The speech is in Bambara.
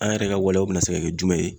An yɛrɛ ka waleyaw bɛ se ka kɛ jumɛn ye.